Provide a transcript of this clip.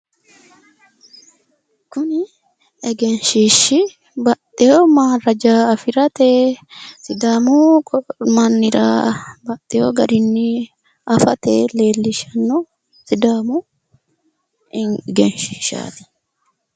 Kuni egenshiishshi baxxewo maaraja afirate sidaamu mannira baxxewp garinni afate leellishshanno sidaamu egenshiishshaati.